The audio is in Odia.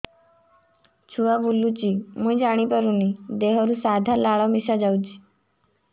ଛୁଆ ବୁଲୁଚି ମୁଇ ଜାଣିପାରୁନି ଦେହରୁ ସାଧା ଲାଳ ମିଶା ଯାଉଚି